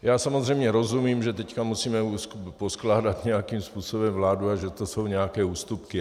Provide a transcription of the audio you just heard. Já samozřejmě rozumím, že teď musíme poskládat nějakým způsobem vládu a že to jsou nějaké ústupky.